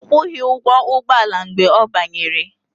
Ọ kwụghị ụgwọ ụgbọala mgbe ọ banyere